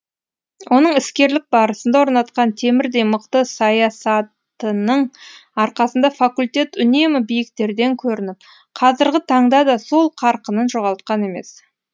оның іскерлік барысында орнатқан темірдей мықты саясатының арқасында факультет үнемі биіктерден көрініп қазіргі таңда да сол қарқынын жоғалтқан емес